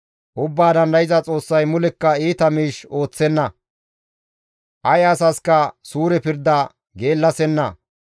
Ubbaa Dandayza Xoossay mulekka iita miish ooththenna; ay asaska suure pirda geellasenna.